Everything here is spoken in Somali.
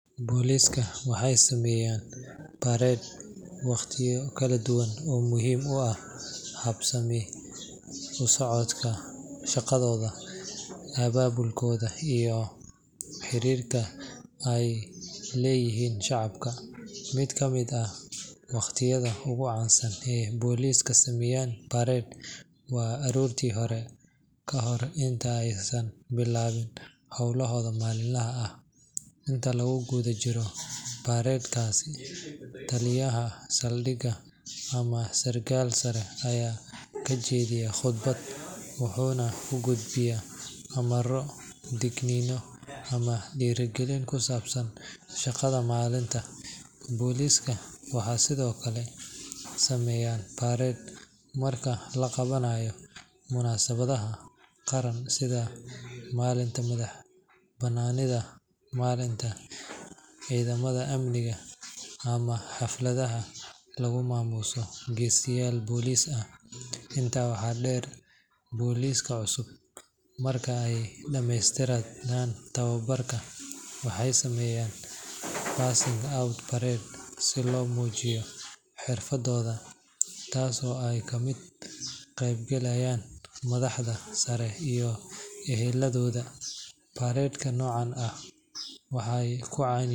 Booliiska waxay sameeyaan parade waqtiyo kala duwan oo muhiim u ah habsami u socodka shaqadooda, abaabulkooda iyo xiriirka ay la leeyihiin shacabka. Mid ka mid ah waqtiyada ugu caansan ee booliisku sameeyaan parade waa aroorta hore, ka hor inta aysan bilaabin hawlahooda maalinlaha ah. Inta lagu guda jiro parade-kaas, taliyaha saldhigga ama sarkaal sare ayaa ka jeediya khudbad, wuxuuna ku gudbiyaa amarro, digniino ama dhiirrigelin ku saabsan shaqada maalinta. Booliiska waxay sidoo kale sameeyaan parade marka la qabanayo munaasabadaha qaran sida maalinta madaxbannaanida, maalinta ciidamada amniga, ama xafladaha lagu maamuuso geesiyaal booliis ah. Intaa waxaa dheer, booliiska cusub marka ay dhamaystaan tababarka waxay sameeyaan passing out parade si loo muujiyo xirfadooda, taasoo ay ka qayb galaan madaxda sare iyo eheladooda. Parade-ka noocan ah waxay caan ku yihiin.